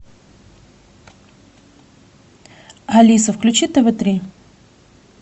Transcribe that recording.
алиса включи тв три